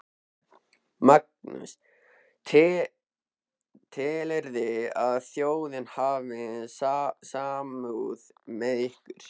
Magnús: Telurðu að þjóðin hafi samúð með ykkur?